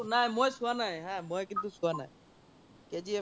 নাই মই চোৱা নাই হা মই কিন্তু চোৱ নাই KGF